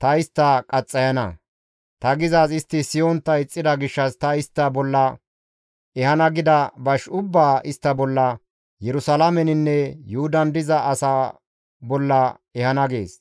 ta istta qaxxayana; ta gizaaz istti siyontta ixxida gishshas ta istta bolla ehana gida bash ubbaa istta bolla, Yerusalaameninne Yuhudan diza asaa bolla ehana» gees.